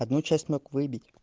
одну часть мог выбить